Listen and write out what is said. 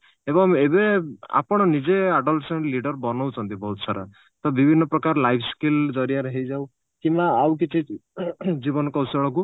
ଏବଂ ଏବେ ଆପଣ ନିଜେ adolescence leader ବନଉଛନ୍ତି ବହୁତ ସାରା ତ ବିଭିନ୍ନ ପ୍ରକାର life skill ଜରିଆରେ ହେଇଯାଉ କିମ୍ବା ଆଉ କିଛି ଜୀବନ କୌଶଳକୁ